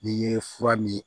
N'i ye fura min